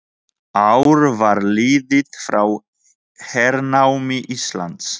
Ár var liðið frá hernámi Íslands.